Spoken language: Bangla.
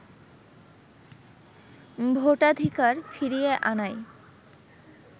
ভোটাধিকার ফিরিয়ে আনাই